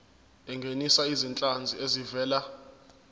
ungenise izinhlanzi ezivela